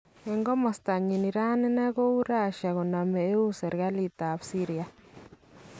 En komastanyin Iran ne kou Russia koname eun serikaliit ab Syria